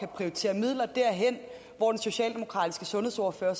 prioritere midler derhen hvor den socialdemokratiske sundhedsordfører